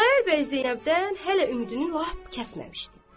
Xudayar bəy Zeynəbdən hələ ümidini lap kəsməmişdi.